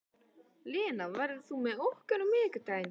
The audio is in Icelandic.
Lena, ferð þú með okkur á miðvikudaginn?